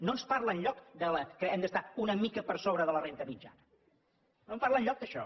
no en parla enlloc que hem d’estar una mica per sobre de la renda mitjana no en parla enlloc d’això